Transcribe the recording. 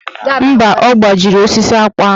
Mba, ọ gbajiri osisi akpụ ahụ.